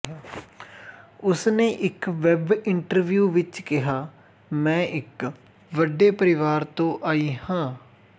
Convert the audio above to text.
ਉਸਨੇ ਇੱਕ web interview ਵਿੱਚ ਕਿਹਾ ਮੈਂ ਇੱਕ ਵੱਡੇ ਪਰਿਵਾਰ ਤੋਂ ਆਈ ਹਾਂ